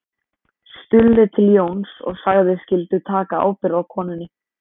Stulli til Jóns og sagðist skyldu taka ábyrgð á konunni